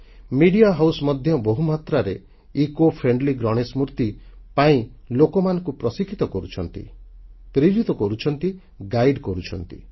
ଗଣମାଧ୍ୟମ ସଂସ୍ଥା ମଧ୍ୟ ବହୁ ମାତ୍ରାରେ ପରିବେଶଧର୍ମୀ ଗଣେଶ ମୂର୍ତ୍ତି ପାଇଁ ଲୋକମାନଙ୍କୁ ପ୍ରଶିକ୍ଷିତ କରୁଛନ୍ତି ପ୍ରେରିତ କରୁଛନ୍ତି ମାର୍ଗଦର୍ଶନ କରୁଛନ୍ତି